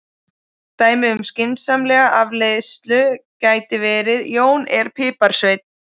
Dæmi um skynsamlega afleiðslu gæti verið: Jón er piparsveinn.